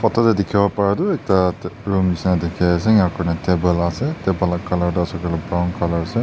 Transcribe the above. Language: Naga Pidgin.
photo te dekhi bo para tu ekta room nisna dekhi ase table ase table laga colour tu ase koile brown ase.